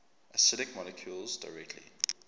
acidic molecules directly